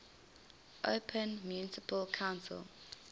open municipal council